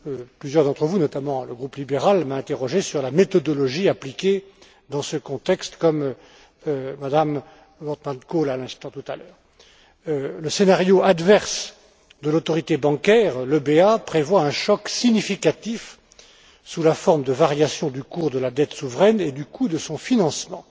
Plusieurs d'entre vous, notamment le groupe libéral, m'ont interrogé sur la méthodologie appliquée dans ce contexte, comme l'a fait Mme Wortmann Kool tout à l'heure. Le scénario adverse de l'autorité bancaire, l'EBA, prévoit un choc significatif sous la forme de variations du cours de la dette souveraine et du coût de son financement.